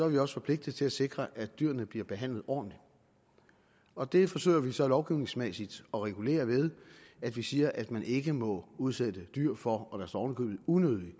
vi også forpligtet til at sikre at dyrene bliver behandlet ordentligt og det forsøger vi så lovgivningsmæssigt at regulere ved at vi siger at man ikke må udsætte dyr for unødig det